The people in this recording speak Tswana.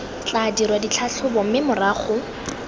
tla dirwa ditlhatlhobo mme morago